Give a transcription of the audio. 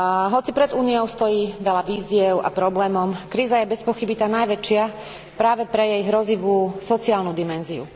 Hoci pred Úniou stojí veľa výziev a problémov, kríza je bezpochyby tá najväčšia práve pre jej hrozivú sociálnu dimenziu.